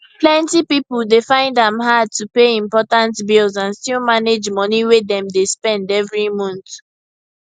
plenty people dey find am hard to pay important bills and still manage money way dem dey spend every month